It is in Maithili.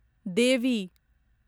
देवी